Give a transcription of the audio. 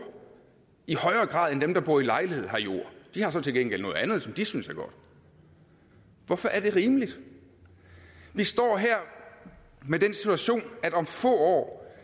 i højere grad end dem der bor i lejlighed har jord de har så til gengæld noget andet som de synes er godt hvorfor er det rimeligt vi står her med den situation at om få år